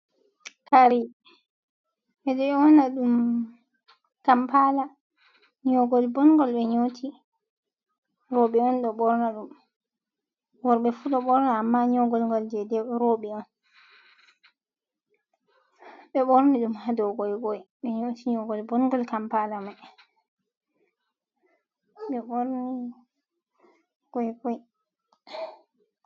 Tari ɓe ɗo ƴowna ɗum kampaala, nyoogol bonngol ɓe nyooti. Rowbe on ɗo ɓorna ɗum, worbe fu ɗo ɓorna amma nyogolngol jey dew rowɓe on. Ɓe ɓorni ɗum ha dow goygoy, ɓe nyooti nyoogol bondur Kampaala may, ɓe borni goygoy.